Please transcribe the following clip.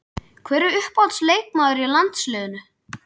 Hver er uppáhalds leikmaður í landsliðinu?